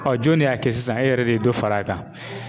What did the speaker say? jɔn de y'a kɛ sisan e yɛrɛ de ye dɔ fara a kan.